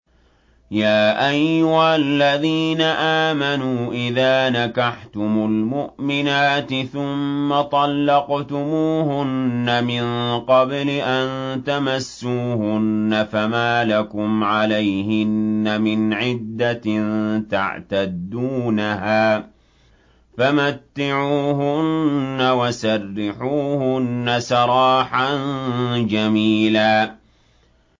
يَا أَيُّهَا الَّذِينَ آمَنُوا إِذَا نَكَحْتُمُ الْمُؤْمِنَاتِ ثُمَّ طَلَّقْتُمُوهُنَّ مِن قَبْلِ أَن تَمَسُّوهُنَّ فَمَا لَكُمْ عَلَيْهِنَّ مِنْ عِدَّةٍ تَعْتَدُّونَهَا ۖ فَمَتِّعُوهُنَّ وَسَرِّحُوهُنَّ سَرَاحًا جَمِيلًا